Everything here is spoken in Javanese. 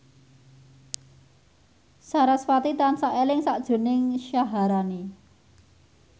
sarasvati tansah eling sakjroning Syaharani